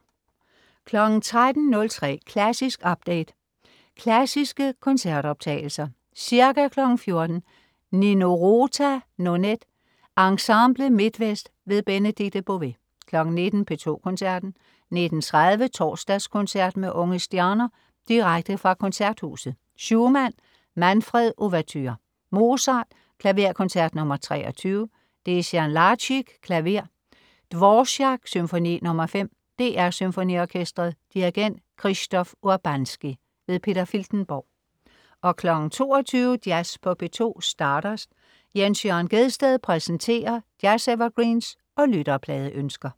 13.03 Klassisk update. Klassiske koncertoptagelser. Ca. 14.00 Nino Rota: Nonet. Ensemble MidtVest. Benedikte Bové 19.00 P2 Koncerten. 19.30 Torsdagskoncert med unge stjerner. Direkte fra Koncerthuset. Schumann: Manfred, ouverture. Mozart: Klaverkoncert nr. 23. Dejan Lazic, klaver. Dvorák: Symfoni nr. 5. DR SymfoniOrkestret. Dirigent: Krzysztof Urbanski. Peter Filtenborg 22.00 Jazz på P2. Stardust. Jens Jørn Gjedsted præsenterer jazz-evergreens og lytterpladeønsker